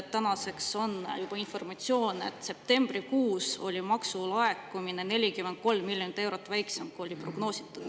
Tänaseks on juba informatsioon, et septembrikuus oli maksulaekumine 43 miljonit eurot väiksem, kui oli prognoositud.